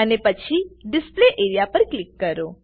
અને પછી display A R E A પર ક્લિક કરો